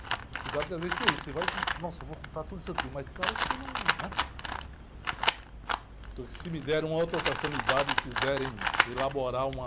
Você sabe que às vezes tem isso, você vai com... Nossa, vou contar tudo isso aqui, mas tem hora que você não... Né? Se me derem outra oportunidade e quiserem elaborar uma...